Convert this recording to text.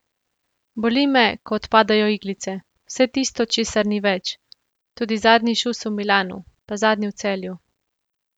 Boli me, ko odpadajo iglice, vse tisto, česar ni več, tudi zadnji šus v Milanu, pa zadnji v Celju.